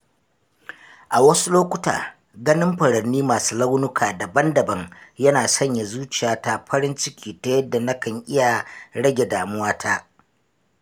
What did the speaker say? A wasu lokuta, ganin furanni masu launuka daban-daban yana sanya zuciyata farin ciki ta yadda na kan iya rage damuwata.